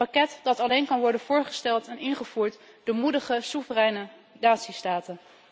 Een pakket dat alleen kan worden voorgesteld en ingevoerd door moedige soevereine natiestaten.